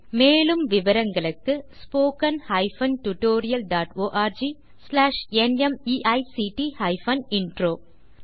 மேலும் விவரங்களுக்கு spoken hyphen tutorial dot org slash NMEICT hyphen intro மூல பாடம் தேசி க்ரூ சொலூஷன்ஸ்